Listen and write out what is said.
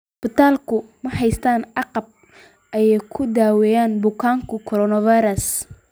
Isbitaaladu ma haystaan ​​agab ay ku daweeyaan bukaanka coronavirus.